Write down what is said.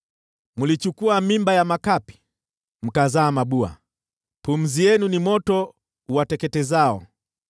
Mlichukua mimba ya makapi, mkazaa mabua, pumzi yenu ni moto uwateketezao.